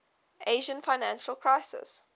asian financial crisis